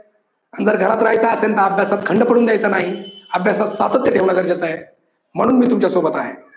आणि जर घरात राहायचं असेल तर अभ्यासात खंड पडू द्यायचा नाही, अभ्यासात सातत्य ठेवण गरजेच आहे, म्हणून मी तुमच्या सोबत आहे.